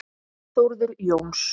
Þórður Jóns